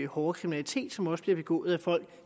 hårde kriminalitet som også bliver begået af folk